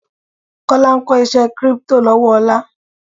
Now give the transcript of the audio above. Kọ́lá ń kó iṣé kírípítò lọ́wọ́ Ọlá.